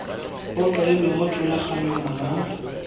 go kailwe mo thulaganyong mo